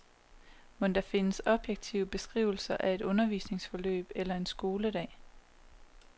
Mon der findes objektive beskrivelser af et undervisningsforløb eller en skoledag.